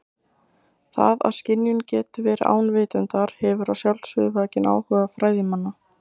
Það að skynjun geti verið án vitundar hefur að sjálfsögðu vakið áhuga fræðimanna.